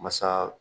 Masa